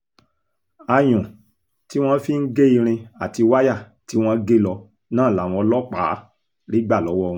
ayùn tí wọ́n fi ń gé irin àti wáyà tí wọ́n gé lọ náà làwọn ọlọ́pàá rí gbà lọ́wọ́ wọn